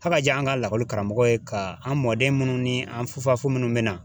Haka diya an ka lakɔli karamɔgɔ ye ka an mɔden minnu ni an fufafu minnu bɛ na